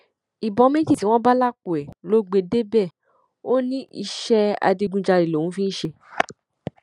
ìbọn méjì tí wọn bá lápò ẹ ló gbé e débẹ ó ní iṣẹ adigunjalè lòun fi ń ṣe